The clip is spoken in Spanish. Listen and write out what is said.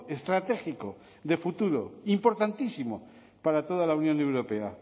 estratégico de futuro importantísimo para toda la unión europea